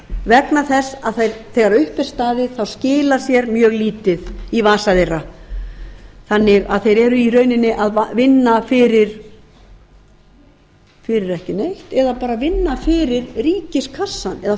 vegna þess að þegar upp er staðið skilar sér mjög lítið í vasa þeirra þannig að þeir eru í rauninni að vinna fyrir ekki neitt eða bara vinna fyrir ríkiskassann eða